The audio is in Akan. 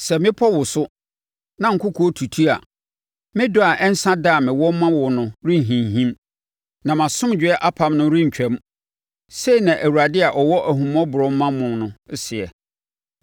Sɛ mmepɔ woso, na nkokoɔ tutu a, me dɔ a ɛnsa da a mewɔ ma wo no renhinhim na mʼasomdwoeɛ apam no rentwam,” sei na Awurade a ɔwɔ ahummɔborɔ ma mo no seɛ.